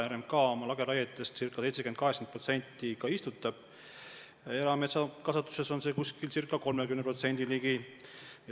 RMK oma lageraiete pindalast ca 70–80% istutab täis, erametsakasvatuses on see näitaja 30% ligi.